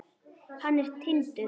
Hann er Tindur.